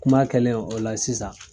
Kuma kɛlen o la sisan